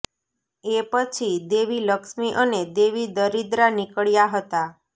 એ પછી દેવી લક્ષ્મી અને દેવી દરિદ્રા નિકળ્યા હતા